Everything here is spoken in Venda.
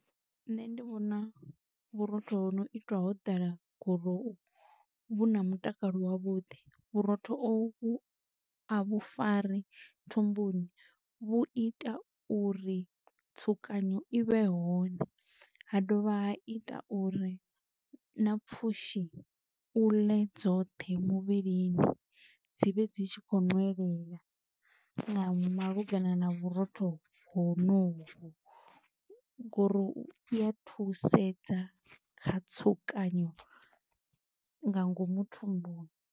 Nṋe ndi vhona vhurotho ho no itwa ho ḓala gurowu vhu na mutakalo wavhuḓi, vhurotho ovhu a vhu fari thumbuni, vhu ita uri tsukanyo i vhe hone, ha dovha ha ita uri na pfushi u ḽe dzoṱhe muvhilini, dzi vhe dzi tshi khou nwelela nga malugana na vhurotho honovhu go uri u ya thusedza kha tsukanyo nga ngomu thumbuni.